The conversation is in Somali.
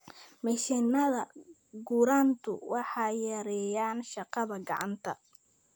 Mashiinnada gurantu waxay yareeyaan shaqada gacanta.